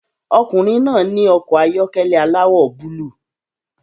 Ọkùnrin náà ní ọkọ̀ ayọ́kẹ́lẹ́ aláwọ̀ búlúù